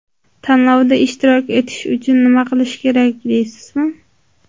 Tanlovda ishtirok etish uchun nima qilish kerak, deysizmi?